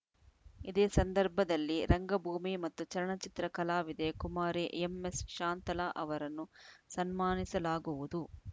ಇದೇ ಸಂದರ್ಭದಲ್ಲಿ ರಂಗಭೂಮಿ ಮತ್ತು ಚಲನಚಿತ್ರ ಕಲಾವಿದೆ ಕುಮಾರಿ ಎಂಎಸ್‌ ಶಾಂತಲಾ ಅವರನ್ನು ಸನ್ಮಾನಿಸಲಾಗುವುದು